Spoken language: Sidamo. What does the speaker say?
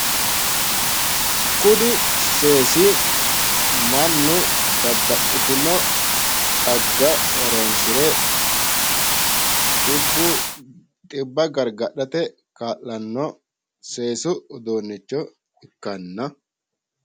Kuni seesi mannu babbaxitinno xagga horonsire xibba gargadhate kaa'lanno seesu uduunnicho ikkanna...